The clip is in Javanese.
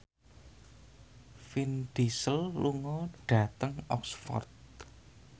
Vin Diesel lunga dhateng Oxford